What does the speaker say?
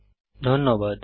অংশগ্রহনের জন্য ধন্যবাদ